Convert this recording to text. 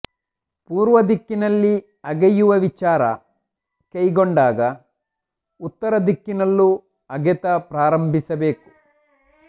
ಪೂರ್ವ ದಿಕ್ಕಿನಲ್ಲಿ ಅಗೆಯುವ ವಿಚಾರ ಕೈಗೊಂಡಾಗ ಉತ್ತರ ದಿಕ್ಕಿನಲ್ಲೂ ಅಗೆತ ಪ್ರಾರಂಭಿಸಬೇಕು